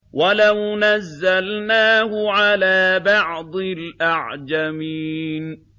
وَلَوْ نَزَّلْنَاهُ عَلَىٰ بَعْضِ الْأَعْجَمِينَ